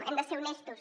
hem de ser honestos